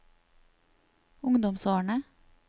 ungdomsårene